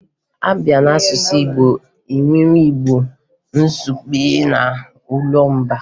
A bịa n'asụsụ Igbo, e nwere Igbo izugbe na olumba